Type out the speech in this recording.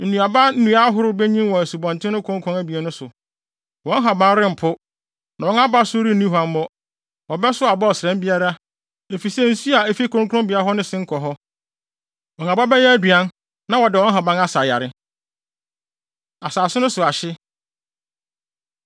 Nnuaba nnua ahorow benyin wɔ asubɔnten no konkɔn abien no so. Wɔn nhaban rempo, na wɔn abasow renni huammɔ. Wɔbɛsow aba ɔsram biara, efisɛ nsu a efi kronkronbea hɔ no sen kɔ hɔ. Wɔn aba bɛyɛ aduan na wɔde wɔn nhaban asa yare.” Asase No So Ahye